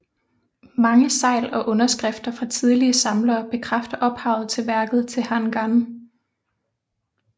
Mange segl og underskrifter fra tidligere samlere bekræfter ophavet til værket til Han Gan